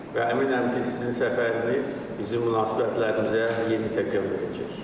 Və əminəm ki, sizin səfəriniz bizim münasibətlərimizə yeni təkan verəcək.